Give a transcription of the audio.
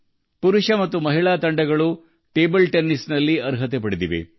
table ಟೆನಿಸ್ನಲ್ಲಿ ಪುರುಷ ಮತ್ತು ಮಹಿಳಾ ತಂಡಗಳು ಅರ್ಹತೆ ಪಡೆದಿವೆ